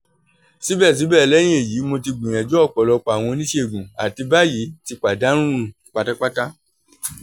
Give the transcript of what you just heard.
sibẹsibẹ lẹhin eyi mo ti gbiyanju ọpọlọpọ awọn onisegun ati bayi ti padanu patapata